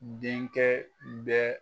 Denkɛ bɛ